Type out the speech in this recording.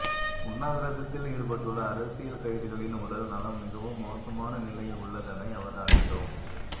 உண்ணாவிரதத்தில் ஈடுபட்டுள்ள அரசியல் கைதிகளின் உடல் நலம் மிகவும் மோசமான நிலையில் உள்ளதனை அவதானித்தோம்